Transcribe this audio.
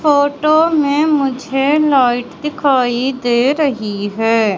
Photo में मुझे light दिखाई दे रही है।